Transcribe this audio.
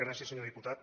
gràcies senyor diputat